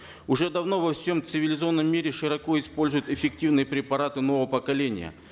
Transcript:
уже давно во всем цивилизованном мире широко используют эффективные препараты нового поколения